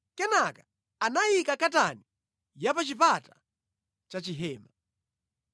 Kenaka anayika katani ya pa chipata cha chihema.